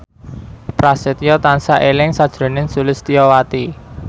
Prasetyo tansah eling sakjroning Sulistyowati